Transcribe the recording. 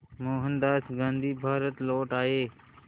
मोहनदास गांधी भारत लौट आए